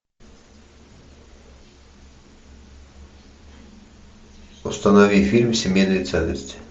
установи фильм семейные ценности